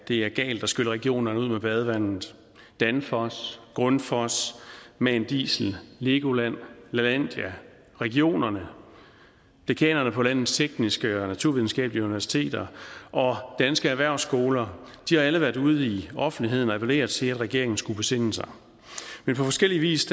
det er galt at skylle regionerne ud med badevandet danfoss grundfos man diesel legoland lalandia regionerne dekanerne på landets tekniske og naturvidenskabelige universiteter og danske erhvervsskoler har alle været ude i offentligheden og appellere til at regeringen skulle besinde sig men på forskellig vis